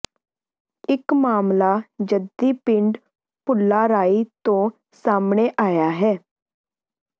ਇਕ ਮਾਮਲਾ ਜੱਦੀ ਪਿੰਡ ਭੁੱਲਾਰਾਈ ਤੋਂ ਸਾਹਮਣੇ ਆਇਆ ਹੈ